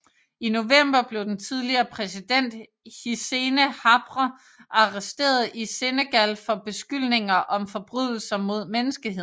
I november blev den tidligere præsident Hissene Habre arresteret i Senegal for beskyldninger om forbrydelser mod menneskeheden